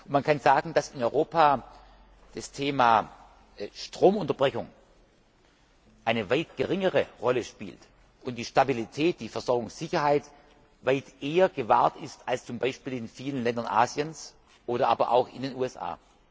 Man kann sagen, dass in Europa das Thema Stromunterbrechung eine weit geringere Rolle spielt und die Stabilität, die Versorgungssicherheit, weit eher gewahrt ist als zum Beispiel in vielen Ländern Asiens oder auch in den USA.